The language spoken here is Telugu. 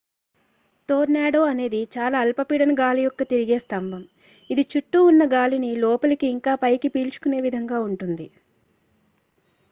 టోర్నాడో అనేది చాలా అల్పపీడన గాలి యొక్క తిరిగే స్థంబం ఇది చుట్టూ ఉన్న గాలిని లోపలికి ఇంకా పైకి పీల్చుకునే విధంగా ఉంటుంది